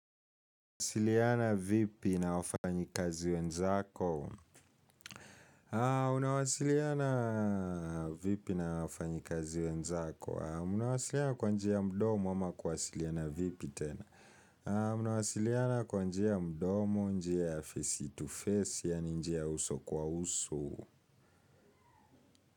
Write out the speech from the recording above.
Unawasiliana vipi na wafanyikazi wenzako? Unawasiliana vipi na wafanyi kazi wenzako? Unawasiliana kwa njia ya mdomo ama kuwasiliana vipi tena mnawasiliana kwa njia ya mdomo njia ya face to face yaani njia ya uso kwa uso.